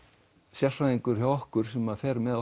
sérfræðingur hjá okkur sem fer með